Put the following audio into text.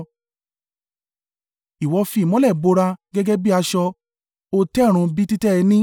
Ìwọ fi ìmọ́lẹ̀ bo ara rẹ gẹ́gẹ́ bí aṣọ; ó tẹ ọ̀run bí títẹ́ ẹní,